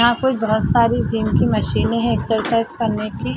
यहाँ कोई बहुत सारी जिम की मशीनें है एक्सरसाइज करने की।